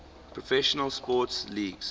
professional sports leagues